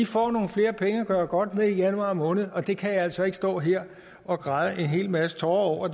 får nogle flere penge at gøre godt med i januar måned og det kan jeg altså ikke stå her og græde en hel masse tårer over